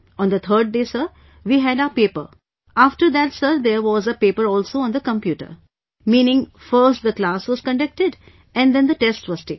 On the third day, sir, we had our paper... after that sir, there was a paper also on the computer... meaning, first the class was conducted and then the test was taken